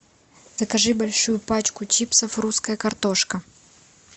закажи большую пачку чипсов русская картошка